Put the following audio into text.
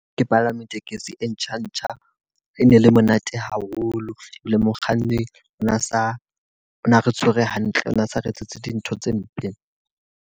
Ke palame tekesi e ntjha ntjha. E ne le monate haholo. Ebile mokganni ona sa ona re tshwere hantle, o na sa re etsetse dintho tse mpe.